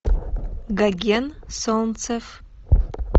гоген солнцев